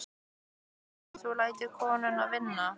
Sindri Sindrason: og þú lætur konuna vinna?